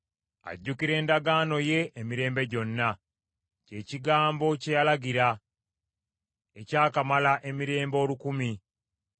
Ajjukira endagaano ye emirembe gyonna, kye kigambo kye yalagira, ekyakamala emirembe olukumi,